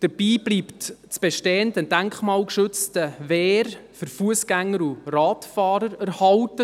Dabei bleibt das bestehende denkmalgeschützte Wehr für Fussgänger und Radfahrer erhalten.